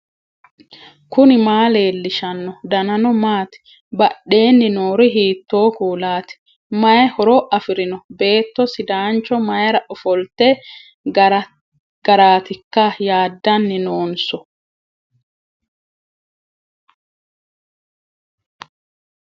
knuni maa leellishanno ? danano maati ? badheenni noori hiitto kuulaati ? mayi horo afirino ? beetto sidaancho mayra ofolitino garaatikka yaadddanni noonso